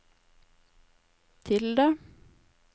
tilde